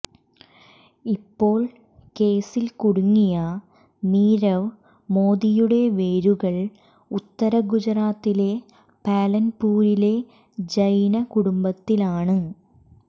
ഇപ്പോൾ കേസിൽ കുടുങ്ങിയ നീരവ് മോദിയുടെ വേരുകൾ ഉത്തര ഗുജറാത്തിലെ പാലൻപുരിലെ ജൈന കുടുംബത്തിലാണ്